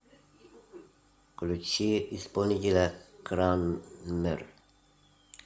включи исполнителя кранмер